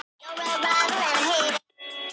Hver kannast ekki við rigningasumur?